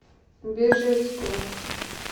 бежецку